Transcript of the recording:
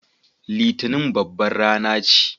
Litinin babbar rana ce.